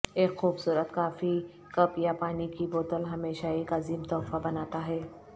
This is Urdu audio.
ایک خوبصورت کافی کپ یا پانی کی بوتل ہمیشہ ایک عظیم تحفہ بناتا ہے